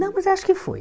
Não, mas acho que foi.